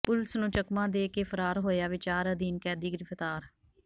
police ਨੂੰ ਚਕਮਾ ਦੇ ਕੇ ਫ਼ਰਾਰ ਹੋਇਆ ਵਿਚਾਰ ਅਧੀਨ ਕੈਦੀ ਗਿ੍ਫ਼ਤਾਰ